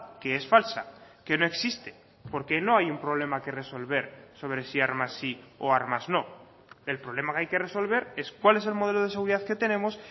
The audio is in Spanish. que es falsa que no existe porque no hay un problema que resolver sobre si armas sí o armas no el problema que hay que resolver es cuál es el modelo de seguridad que tenemos